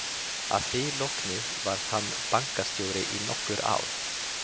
Að því loknu varð hann bankastjóri í nokkur ár.